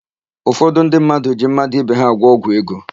Ụfọdụ ndị mmadụ ji mmadụ ibe ha agwọ ọgwụ ego.